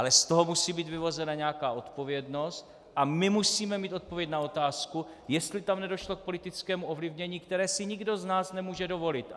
Ale z toho musí být vyvozena nějaká odpovědnost a my musíme mít odpověď na otázku, jestli tam nedošlo k politickému ovlivnění, které si nikdo z nás nemůže dovolit.